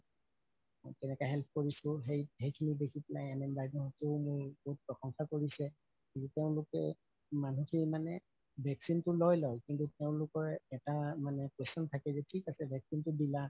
এনেকা help কৰিছো সেই সেখিনি দেখি পেলাই NM বাইদেউ হতে মোৰ বহুত প্ৰশংসা কৰিছে তেওঁলোকে মানুহ খিনি মানে vaccine তো লৈ লয় কিন্তু তেওঁলোকৰ এটা মানে question থাকে থিক আছে vaccine তো দিলা